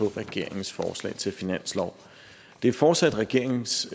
regeringens forslag til finanslov det er fortsat regeringens